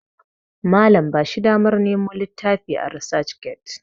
Malam ba shi damar Nemo littafi a resac get